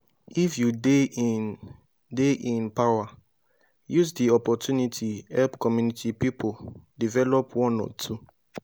if you de in de in power use di opportunity help community pipo develop one or two